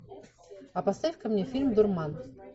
а поставь ка мне фильм дурман